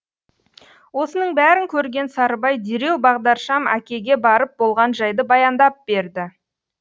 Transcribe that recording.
осының бәрін көрген сарыбай дереу бағдаршам әкеге барып болған жайды баяндап берді